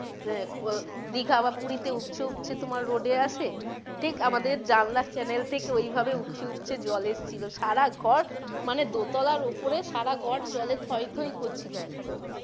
দীঘা বা পুরি তে উপচে উপচে তোমার road এ আসে ঠিক আমাদের জানালার channel থেকে ওইভাবে উপচে উপচে জল এসছিলো সারা ঘর মানে দোতলার ওপরে সারা ঘর জলে থই থই করছিলো একদম।